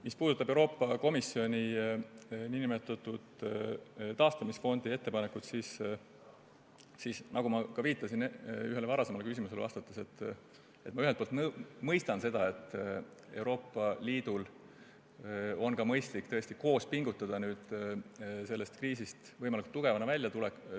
Mis puudutab Euroopa Komisjoni nn taastamisfondi ettepanekut, siis nagu ma ühele varasemale küsimusele vastates viitasin, ma ühelt poolt mõistan, et Euroopa Liidul on tõesti mõistlik koos pingutada, et sellest kriisist võimalikult tugevana välja tulla.